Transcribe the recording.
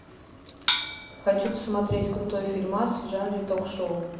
хочу посмотреть крутой фильмас в жанре ток шоу